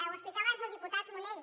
ho explicava abans el diputat munell